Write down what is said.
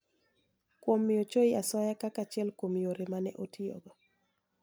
Kuom miyo Choi asoya kaka achiel kuom yore ma ne otiyogo.